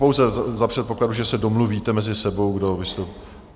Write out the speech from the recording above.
Pouze za předpokladu, že se domluvíte mezi sebou, kdo vystoupí...